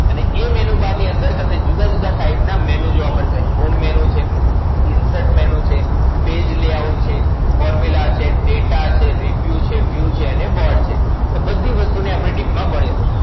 અને એ Menu Bar ની અંદર તમને જુદા જુદા type ના Menu જોવા મળશે. Home Menu છે, Insert Menu છે, Page Layout છે, Formula છે, Data છે, Review છે, View છે અને Board છે. બધી વસ્તુ ને આપણે deep માં ભણીશું.